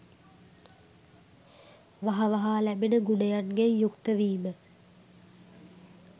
වහ වහා ලැබෙන ගුණයන්ගෙන් යුක්තවීම